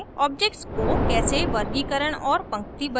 objects को कैसे वर्गीकरण और पंक्तिबद्ध करें